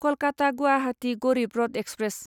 Kolkata Guwahati Garib Rath express